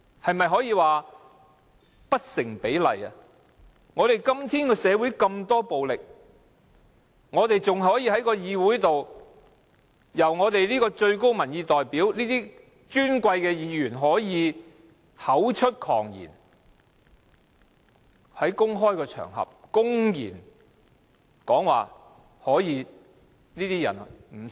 我們的社會今天充斥着這麼多暴力事件，更有進身立法會的最高民意代表，身為尊貴的議員，竟可口出狂言，在公開場合公然說"不殺了這些人又如何？